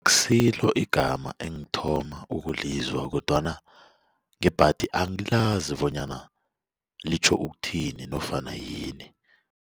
Akusilo igama engithoma ukulizwa kodwana ngebhadi angilazi bonyana litjho ukuthini nofana yini.